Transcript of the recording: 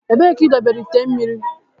Ebee ka idobere ite mmiri.